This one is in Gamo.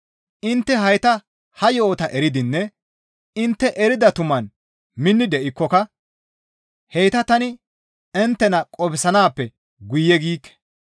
Intte hayta ha yo7ota eridinne intte erida tumaan minni de7ikkoka heyta tani inttena qofsanaappe guye giikke.